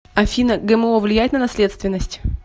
афина гмо влияет на наследственность